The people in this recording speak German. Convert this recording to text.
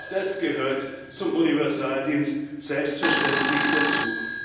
Denn auch das gehört zum Universaldienst selbstverständlich dazu.